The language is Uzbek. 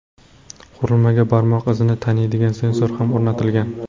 Qurilmaga barmoq izini taniydigan sensor ham o‘rnatilgan.